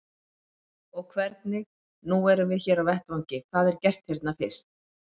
Páll: Og hvernig, nú erum við hér á vettvangi, hvað er gert hérna fyrst?